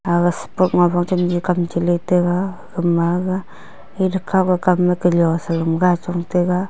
aga ma pho chemle kam chele tega aga ma ga kam ma selong chong tega.